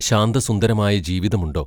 ശാന്തസുന്ദരമായ ജീവിതം ഉണ്ടോ?